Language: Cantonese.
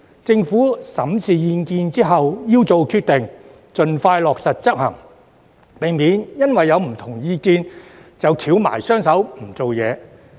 政府在審視意見後要做決定，盡快落實執行，避免因為有不同意見便"翹埋雙手"不作為。